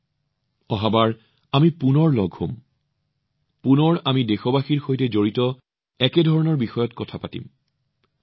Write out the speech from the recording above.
পৰৱৰ্তীবাৰ আমি আকৌ এবাৰ লগ হম আমি পুনৰ দেশবাসীৰ সৈতে সম্পৰ্কিত একে ধৰণৰ বিষয়ে কথা পাতিম